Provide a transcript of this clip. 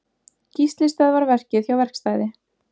Gísli stöðvar verkið hjá verkstæði